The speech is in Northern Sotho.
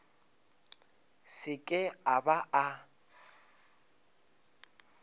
se ke a ba a